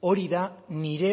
hori da nire